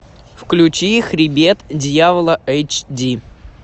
включи хребет дьявола эйч ди